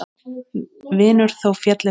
Vinur þó félli frá.